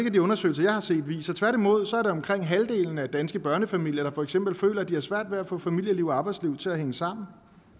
at de undersøgelser jeg har set viser tværtimod er det jo omkring halvdelen af de danske børnefamilier der for eksempel føler at de har svært ved at få familieliv og arbejdsliv til at hænge sammen